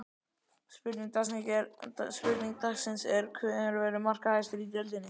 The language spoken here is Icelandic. Spurning dagsins er: Hver verður markahæstur í deildinni?